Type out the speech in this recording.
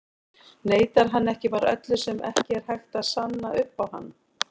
Neitar hann ekki bara öllu sem ekki er hægt að sanna upp á hann?